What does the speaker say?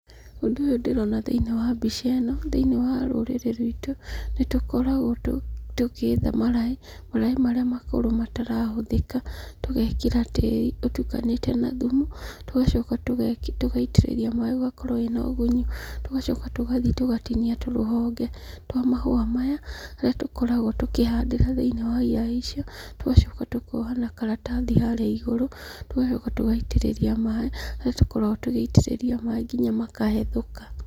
Ũndũ ũyũ ndĩrona thĩinĩ wa mbica ĩno thĩinĩ wa rũrĩrĩinĩ ruitũ nĩtũkoragwo tũgĩetha maraĩ, maraĩ marĩa makũrũ matarahũthĩka tũgekĩra tĩri ũtukanĩte na thumu, tũgacoka tũgaitĩrĩria maaĩ ĩgakorwo ĩrĩ na ũgunyu. Tũgacoka tũgathiĩ tugatinia tũrũhonge twa mahũa maya tũrĩa tũkoragwo tũkĩhandĩra thĩinĩ wa iraĩ icio, tũgacoka tũkoha na karatathi harĩa igũrũ tũgacoka tũgaitĩrĩria maaĩ harĩa tũkoragwo tũgĩitĩrĩria maaĩ nginya makahethũka.